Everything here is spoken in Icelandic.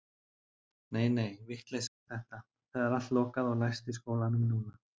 Nei, nei, vitleysa er þetta, það er allt lokað og læst í skólanum núna.